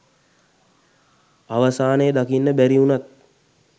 අවසානය දකින්න බැරි උනත්